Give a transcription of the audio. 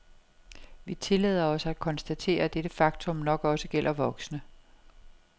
Vi tillader os at konstatere, at dette faktum nok også gælder voksne.